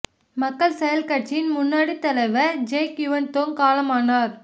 மக்கள் செயல் கட்சியின் முன்னோடித் தலைவர் ஜெக் யுவன் தோங் காலமானார்